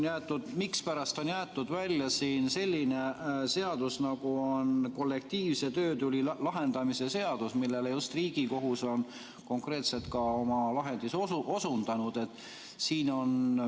Aga mispärast on jäetud välja selline seadus, nagu on kollektiivse töötüli lahendamise seadus, millele just Riigikohus on konkreetselt ka oma lahendis osundanud?